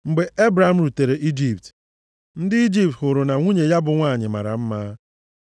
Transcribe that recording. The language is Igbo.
Mgbe Ebram rutere Ijipt, ndị Ijipt hụrụ na nwunye ya bụ nwanyị mara mma.